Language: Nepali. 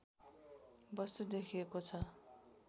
वस्तु देखिएको छ